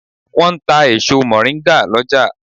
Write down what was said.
Wọ́n ń ta èso mọ̀ríngà lọ́jà.